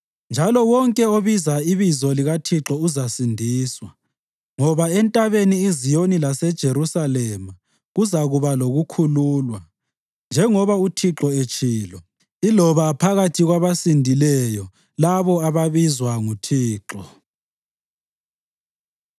Njalo wonke obiza ibizo likaThixo uzasindiswa; ngoba eNtabeni iZiyoni laseJerusalema kuzakuba lokukhululwa, njengoba uThixo etshilo, iloba phakathi kwabasindileyo labo ababizwa nguThixo.”